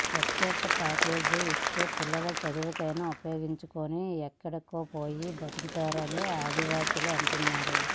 ప్రత్యేక ప్యాకేజీ ఇస్తే పిల్లల చదువుకైనా ఉపయోగించుకుని ఎక్కడికో పోయి బతుకుతామని ఆదివాసీలు అంటున్నారు